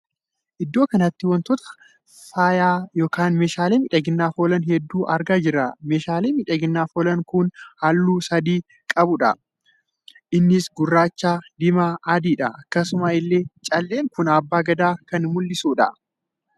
Iddoo kanatti wantoota faaya ykn meeshaalee miidhaginaaf oolan hedduu argaa jirra. meeshaalee miidhaginaaf oolan kun halluu sadii kan qabuudha. Innis gurraacha diimaa adiidha akkasuma illee caallen kun Abba gadaa kan mullisudha